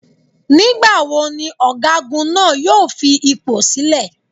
Nígbà wo ni ọ̀gágun náà jọ fi ipò sílè?